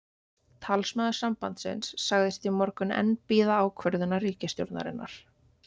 Talsmaður sambandsins sagðist í morgun enn bíða ákvörðunar ríkisstjórnarinnar.